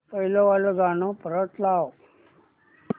पहिलं वालं गाणं परत वाजव